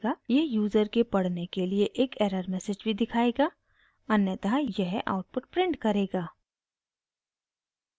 यह यूज़र के पढ़ने के लिए एरर मैसेज भी दिखायेगा अन्यथा यह आउटपुट प्रिंट करेगा